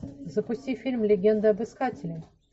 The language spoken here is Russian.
запусти фильм легенда об искателе